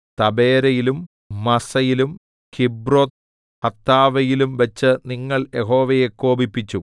തബേരയിലും മസ്സയിലും കിബ്രോത്ത്ഹത്താവയിലും വെച്ച് നിങ്ങൾ യഹോവയെ കോപിപ്പിച്ചു